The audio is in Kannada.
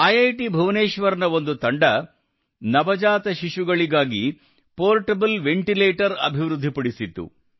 ಐಐಟಿ ಭುವನೇಶ್ವರ್ ನ ಒಂದು ತಂಡವು ನವಜಾತ ಶಿಶುಗಳಿಗಾಗಿ ಪೋರ್ಟೇಬಲ್ ವೆಂಟಿಲೇಟರ್ ಅಭಿವೃದ್ಧಿ ಪಡಿಸಿತ್ತು